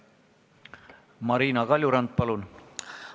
Marina Kaljurand, palun!